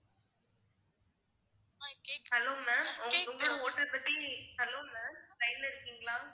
hello ma'am உங்க~ உங்களோட~ hotel பத்தி hello ma'am line ல இருக்கீங்களா